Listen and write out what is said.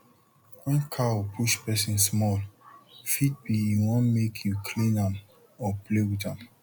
wen cow push pesin small fit be e wan make u clean am or play with am